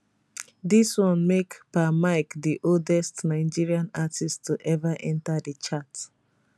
dis one make pa mike di oldest nigerian artist to ever enta di chart